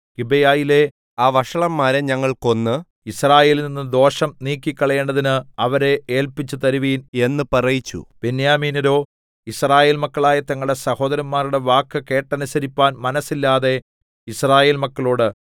ഗിബെയയിലെ ആ വഷളന്മാരെ ഞങ്ങൾ കൊന്ന് യിസ്രായേലിൽനിന്ന് ദോഷം നീക്കിക്കളയേണ്ടതിന് അവരെ ഏല്പിച്ചു തരുവിൻ എന്ന് പറയിച്ചു ബെന്യാമീന്യരോ യിസ്രായേൽ മക്കളായ തങ്ങളുടെ സഹോദരന്മാരുടെ വാക്ക് കേട്ടനുസരിപ്പാൻ മനസ്സില്ലാതെ യിസ്രായേൽ മക്കളോട്